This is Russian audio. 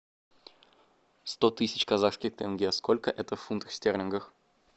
сто тысяч казахских тенге сколько это в фунтах стерлингах